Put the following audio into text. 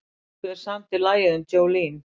Hver samdi lagið um Jolene?